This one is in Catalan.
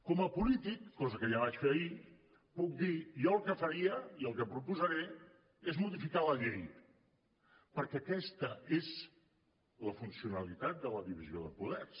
com a polític cosa que ja vaig fer ahir puc dir jo el que faria i el que proposaré és modificar la llei perquè aquesta és la funcionalitat de la divisió de poders